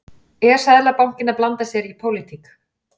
Er Seðlabankinn að blanda sér í pólitík?